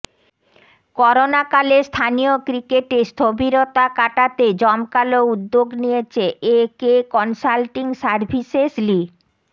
করোনাকালে স্থানীয় ক্রিকেটে স্থবিরতা কাটাতে জমকালো উদ্যোগ নিয়েছে একে কনসাল্টিং সার্ভিসেস লি